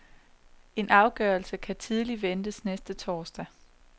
En afgørelse kan tidligt ventes næste torsdag.